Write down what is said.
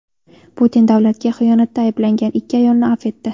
Putin davlatga xiyonatda ayblangan ikki ayolni avf etdi.